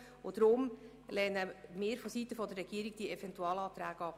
Deshalb lehnt die Regierung diese Eventualanträge ab.